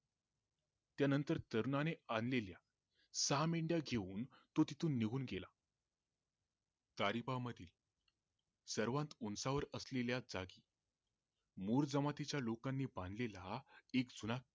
त्या नंतर तरुणाने आणलेल्या सहा मेंढया घेऊन तो तिथून निघून गेला सरीपा मध्ये सर्वात उंचावर असलेल्या मुर जमातीच्या लोकानी बांधलेल्या एक किल्ला